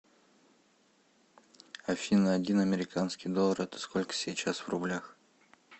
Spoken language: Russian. афина один американский доллар это сколько сейчас в рублях